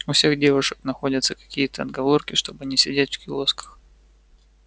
у всех девушек находятся какие-то отговорки чтобы не сидеть в киосках